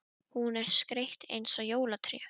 Hún er skreytt eins og jólatré.